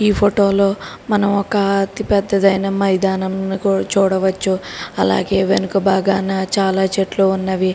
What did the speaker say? ఈ ఫోటోలో మనం అతి పెద్దదైన ఒక మైదానాన్ని చూడవచ్చు అలాగే వెనక బాగానా చాలా చెట్లు ఉన్నవి